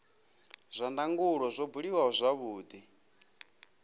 zwa ndangulo zwo buliwa zwavhudi